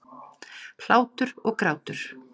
Hlátur og grátur.